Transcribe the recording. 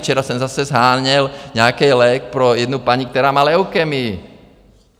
Včera jsem zase sháněl nějaký lék pro jednu paní, která má leukémii.